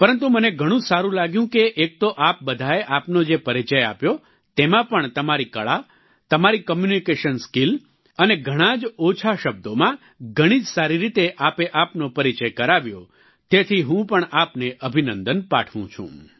પરંતુ મને ઘણું જ સારું લાગ્યું કે એક તો આપ બધાએ આપનો જે પરિચય આપ્યો તેમાં પણ તમારી કળા તમારી કોમ્યુનિકેશન સ્કિલ અને ઘણાં જ ઓછા શબ્દોમાં ઘણી જ સારી રીતે આપે આપનો પરિચય કરાવ્યો તેથી હું પણ આપને અભિનંદન પાઠવું છું